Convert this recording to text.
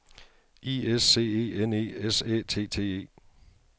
I S C E N E S Æ T T E